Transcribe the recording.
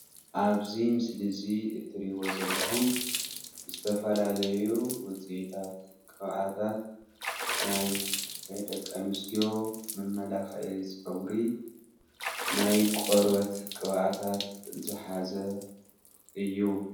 ኣብዚ ምስሊ እዚ እትርእይዎ ዘለኩም ዝተፈላልዩ ውጽኢታት ቅብአታት ናይ ደቂ ኣንስትዮ መመላኽዒ ፀጉሪ ናይ ቆርበት ቅብኣታት ዝሓዘ እዩ።